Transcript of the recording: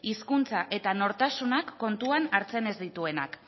hizkuntza eta nortasunak kontuan hartzen ez dituena